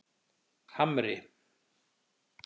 Hamri